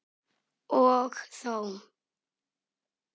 Og þó.